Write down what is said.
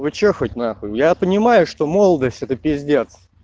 вы что хоть на хуй я понимаю что молодость это пиздец